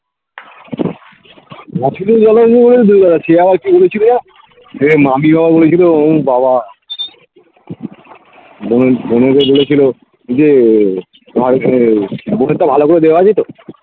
চেহারায় ফিরে গেছিলো দিয়ে মামিমাও বলেছিলো ও বাবা ওকে বলেছিলো যে bonnet টা ভালো করে দেওয়া আছে তো